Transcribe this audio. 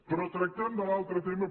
però tractem de l’altre tema